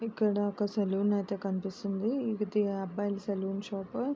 ఇక్కడ ఒక సెలూన్ అయితే కనిపిస్తుంది ఇది అబ్బాయిల సెలూన్ షాపు .